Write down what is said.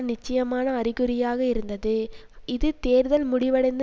நிச்சயமான அறிகுறியாக இருந்தது இது தேர்தல் முடிவடைந்து